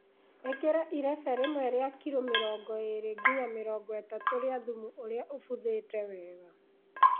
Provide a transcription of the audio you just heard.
Ĩkĩra irebe rĩmwe rĩa kiro mĩrongo ĩrĩ nginya mĩrongo ĩtatũ rĩa thumu ũrĩa ũbuthĩte wega